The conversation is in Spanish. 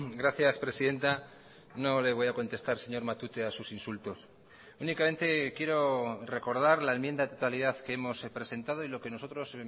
gracias presidenta no le voy a contestar señor matute a sus insultos únicamente quiero recordar la enmienda de totalidad que hemos presentado y lo que nosotros